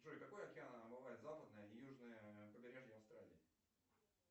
джой какой океан омывает западное и южное побережье австралии